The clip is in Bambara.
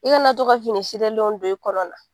I kana to ka fini len don i kɔnɔ na